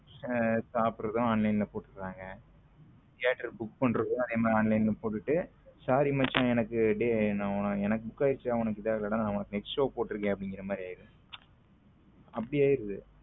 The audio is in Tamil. சாப்பிடறதும் online ல போடுறாங்க தியேட்டர் theatre book பன்றதும் அதே மாதிரி online ல போட்டுட்டு sorry மச்சான் டேய் எனக்கு book ஆயிடுச்சு ட உனக்கு இது ஆகல டா உனக்கு next show போட்டு இருக்கேன் அது மாதிரி ஆயிரும் அப்படி ஆகிறது.